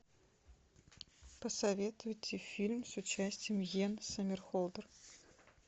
посоветуйте фильм с участием йен сомерхолдер